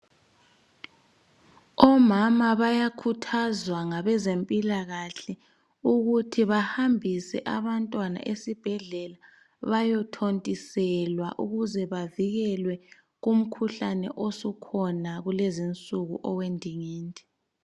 Omama bayakhuthazwa ngabezempilakahle ukuthi bahambise abantwana esibhedlela bayethontiselwa ukuze bavikelwe kukhuhlane osukhona kulezinsuku owendingindi